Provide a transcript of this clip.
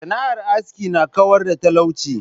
sana'ar aski n kawar da da talauci.